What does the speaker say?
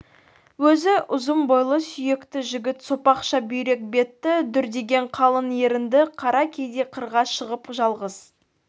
өзі ұзын бойлы сүйекті жігіт сопақша бүйрек бетті дүрдиген қалың ерінді қара кейде қырға шығып жалғыз